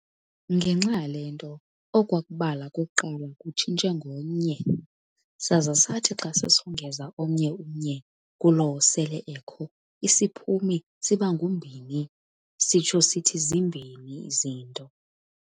Ngenxa yale nto okwakubala kokuqala kutshintshe ngo-nye, saza sathi xa sisongeza omnye u-nye kulowo sele ekho isiphumi siba ngu-mbini, sitsho sithi zimbini izinto.